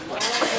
Mən sizə.